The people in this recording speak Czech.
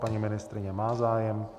Paní ministryně má zájem.